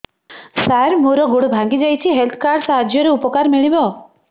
ସାର ମୋର ଗୋଡ଼ ଭାଙ୍ଗି ଯାଇଛି ହେଲ୍ଥ କାର୍ଡ ସାହାଯ୍ୟରେ ଉପକାର ମିଳିବ